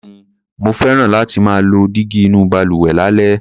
Bẹ́ẹ̀ni, mo fẹ́ràn láti máa lo dígí inú balùwẹ̀ lálẹ́.